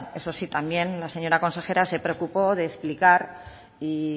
eso sí también la señora consejera se preocupó de explicar y